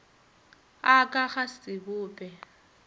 a ka ga se bope